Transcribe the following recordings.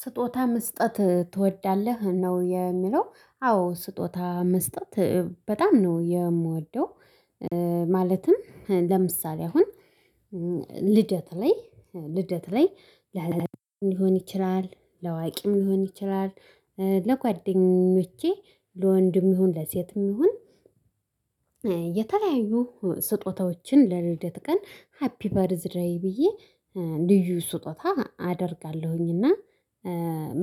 ስጦታ መስጠት ትወዳለህ ነው የሚለው አዎ ስጦታ መስጠት በጣም ነው የምወደው። ማለትም ለምሳሌ አሁን ልደት ላይ ልደት ላይ ሊሆን ይችላል ለአዋቂም ሊሆን ይችላል ለጓደኞቼ ለወንድም ይሁን ለሴትም ይሁን። የተለያዩ ስጦታዎችን ለልደት ቀን ሃፒ በር ደይ ብዬ ልዩ ስጦታ አደርጋለሁኝ። እና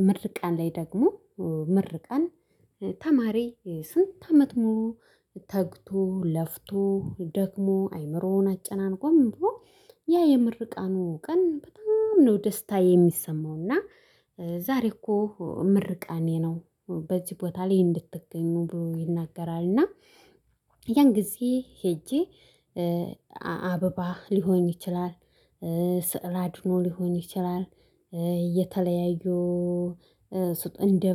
ምርቃን ላይ ደግሞ ምርቃን ተማሪ ስንት አመት ሞሉ? ተግቶ ለፍቶ ደክሞ አይምሮውን አጨናንቆ ምንድነው ያ የምርቃኑ ቀን በጣም ነው ደስታ የሚሰማው። እና ዛሬ እኮ ምርቃኔ ነው በዚህ ቦታ ላይ እንድትገኙ ይናገራል። እና ያን ጊዜ ሄጄ አበባ ሊሆን ይችላል። ስዕል አድኖ ሊሆን ይችላል። እየተለያዩ እንደ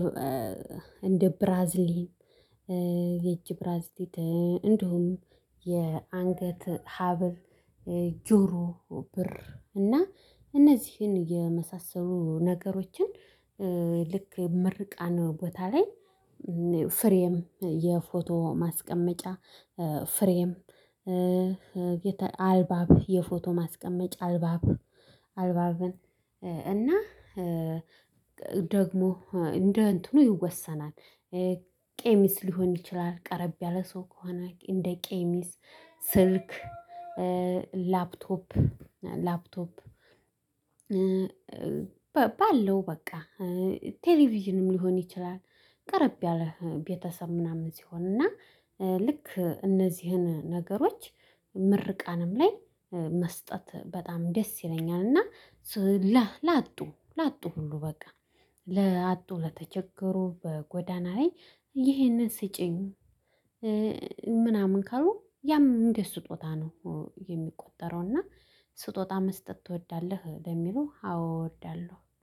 እንደ ብራዚሊ የእጅ ብራዚሊ እንደውም የአንገት ሀብል ጆሮ ብር እና እነዚህን የመሳሰሉ ነገሮችን። ልክ ምርቃን ቦታ ላይ ፍሬም የፎቶ ማስቀመጫ ፍሬም አልባብ የፎቶ ማስቀመጫ አልባብ አልባብን እና ደግሞ እንደ እንትኑ ይወሰናል። ቀሚስ ሊሆን ይችላል ቀረብ ያለ ሰው ከሆነ እንደ ቀሚስ ስልክ ላፕቶፕ ላፕቶፕ ባለው በቃ ቴሌቪዥንም ሊሆን ይችላል። ቀረብ ያለ ቤተሰብ ምናምን ሲሆን እና ልክ እነዚህን ነገሮች ምርቃንም ላይ መስጠት በጣም ደስ ይለኛል። እና ላጡ ላጡ ሁሉ በቃ ላጡ ለተቸገሩ በጎዳና ላይ ይህንን ስጪኝ ምናምን ካሉ ያም እንደ ስጦታ ነው። የሚቆጠረው እና ስጦታ መስጠት ትወዳለህ በሚለው አዎ እወዳለሁ